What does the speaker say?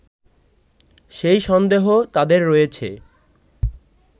সেই সন্দেহ তাদের রয়েছে